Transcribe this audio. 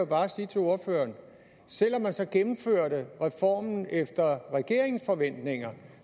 bare sige til ordføreren at selv om man så gennemførte reformen efter regeringens forventninger